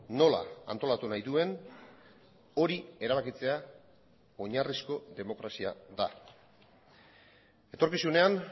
nola antolatu nahi duen hori erabakitzea oinarrizko demokrazia da etorkizunean